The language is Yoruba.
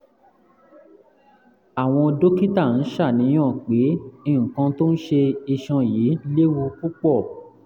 àwọn dókítà ń ṣàníyàn pé nǹkan tó ń ṣe iṣan yìí léwu púpọ̀